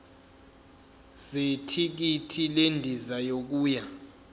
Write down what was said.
zethikithi lendiza yokuya